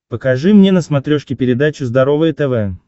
покажи мне на смотрешке передачу здоровое тв